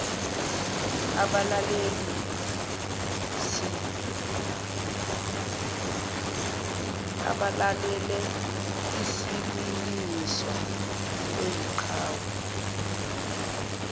abalaleleisib umlingiswa oyiqhawe